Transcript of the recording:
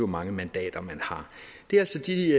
mange mandater man har det er altså de